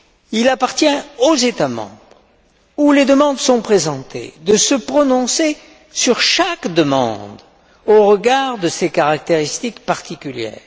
Il appartient aux États membres où les demandes sont présentées de se prononcer sur chaque demande au regard de ses caractéristiques particulières.